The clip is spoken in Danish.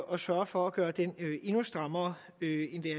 og sørge for at gøre den endnu strammere